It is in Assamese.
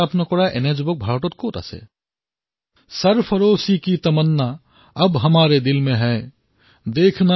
ভাৰতৰ এনেকুৱা কোন তৰুণ আছে যিয়ে এই শাৰীকেইটা শুনি প্ৰেৰণা নাপাব